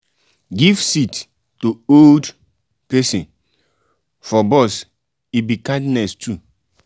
give seat to old pesin for bus e be kindness too.